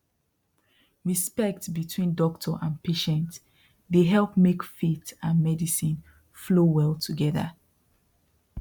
respect between doctor and patient dey help make faith and medicine flow well together